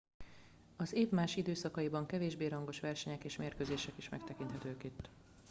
az év más időszakaiban kevésbé rangos versenyek és mérkőzések is megtekinthetők itt